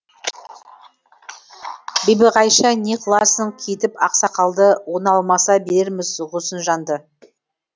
бибиғайша не қыласын кейітіп ақсақалды оны алмаса берерміз ғұснижанды